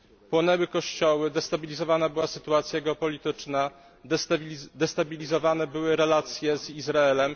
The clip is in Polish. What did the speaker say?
Płonęły kościoły, destabilizowana była sytuacja geopolityczna, destabilizowane były relacje z Izraelem.